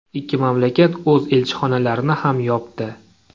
Ikki mamlakat o‘z elchixonalarini ham yopdi.